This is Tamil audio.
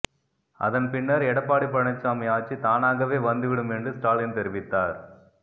அதன் பின்னர் எடப்பாடி பழனிச்சாமி ஆட்சி தானாகவே வந்துவிடும் என்று ஸ்டாலின் தெரிவித்தார்